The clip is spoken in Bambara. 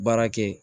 Baara kɛ